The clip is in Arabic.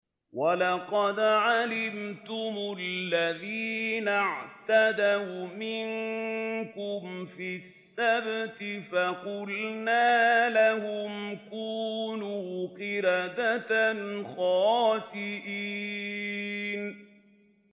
وَلَقَدْ عَلِمْتُمُ الَّذِينَ اعْتَدَوْا مِنكُمْ فِي السَّبْتِ فَقُلْنَا لَهُمْ كُونُوا قِرَدَةً خَاسِئِينَ